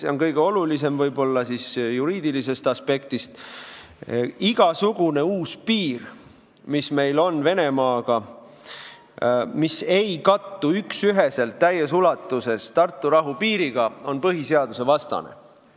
Esiteks, kõige olulisem juriidilisest aspektist on see, et igasugune uus piir, mis meil on Venemaaga ja mis ei kattu üksüheselt täies ulatuses Tartu rahu piiriga, on põhiseadusvastane.